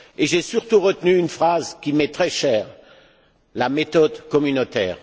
J'ai surtout retenu une expression qui m'est très chère la méthode communautaire.